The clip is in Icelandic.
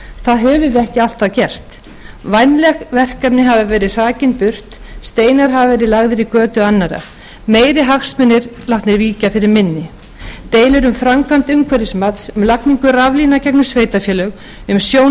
það höfum við ekki alltaf gert vænleg verkefni hafa verið hrakin burt steinar hafa verið lagðir í götu annarra meiri hagsmunir látnir víkja fyrir minni deilur um framkvæmd umhverfismats um lagningu raflína gegnum sveitarfélög um sjón